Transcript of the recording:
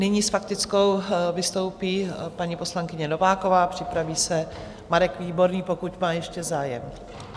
Nyní s faktickou vystoupí paní poslankyně Nováková, připraví se Marek Výborný, pokud má ještě zájem.